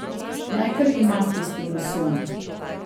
Naj kar ima tisti losjon.